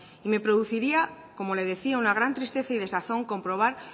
y me produciría como le decía una gran tristeza y desazón comprobar